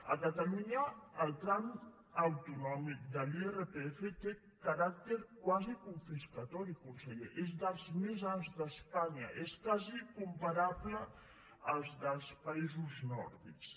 a catalunya el tram autonòmic de l’irpf té caràcter quasi confiscatori conseller és dels més alts d’espanya és quasi comparable al dels països nòrdics